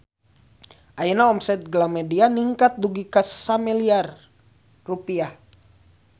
Ayeuna omset Galamedia ningkat dugi ka 1 miliar rupiah